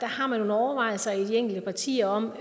har man nogle overvejelser i de enkelte partier om